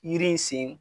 Yiri in sen